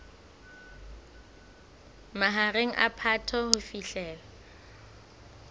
mahareng a phato ho fihlela